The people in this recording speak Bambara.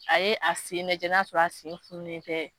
A ye a sen lajɛ n'a sɔrɔ a sen fununen tɛ